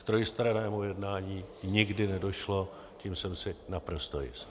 K trojstrannému jednání nikdy nedošlo, tím jsem si naprosto jist.